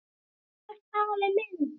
Þú ert afi minn!